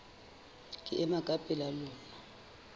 ke ema ka pela lona